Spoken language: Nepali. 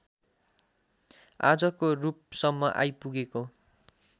आजको रूपसम्म आइपुगेको